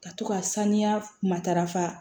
Ka to ka saniya matarafa